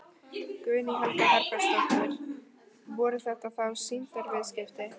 Guðný Helga Herbertsdóttir: Voru þetta þá sýndarviðskipti?